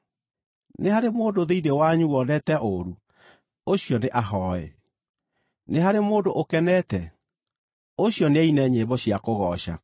Nĩ harĩ mũndũ thĩinĩ wanyu wonete ũũru? Ũcio nĩahooe. Nĩ harĩ mũndũ ũkenete? Ũcio nĩaine nyĩmbo cia kũgooca.